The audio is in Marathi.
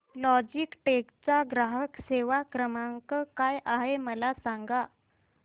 लॉजीटेक चा ग्राहक सेवा क्रमांक काय आहे मला सांगा